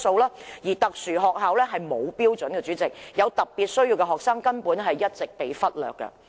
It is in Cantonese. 至於特殊學校則並無既定標準，有特別需要的學生根本一直被忽略。